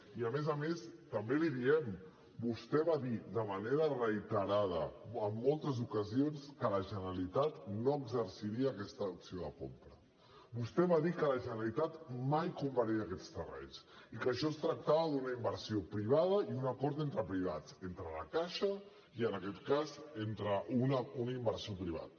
i a més a més també l’hi diem vostè va dir de manera reiterada en moltes ocasions que la generalitat no exerciria aquesta opció de compra vostè va dir que la generalitat mai compraria aquests terrenys i que això es tractava d’una inversió privada i un acord entre privats entre la caixa i en aquest cas un inversor privat